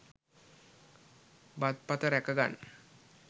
බත් පත රැකගන්න